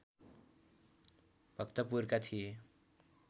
भक्तपुरका थिए